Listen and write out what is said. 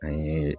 An ye